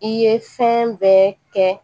I ye fɛn bɛɛ kɛ